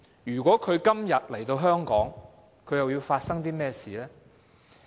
如果今天她來香港，又會發生甚麼事？